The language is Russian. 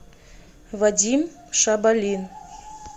вадим шабалин